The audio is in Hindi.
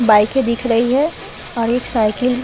बाइके दिख रही है और एक साइकिल --